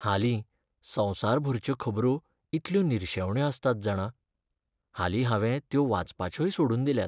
हालीं संवसारभरच्यो खबरो इतल्यो निरशेवण्यो आसतात जाणा, हालीं हांवें त्यो वाचपाचयोय सोडून दिल्यात.